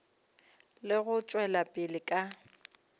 le go tšwela pele ka